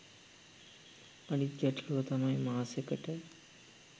අනිත් ගැටළුව තමයි මාසෙකට